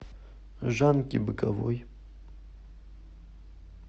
жанки быковой